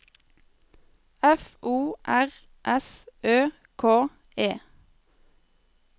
F O R S Ø K E